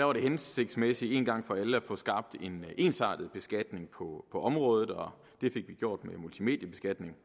var det hensigtsmæssigt en gang for alle at få skabt en ensartet beskatning på området og det fik vi gjort med en multimediebeskatning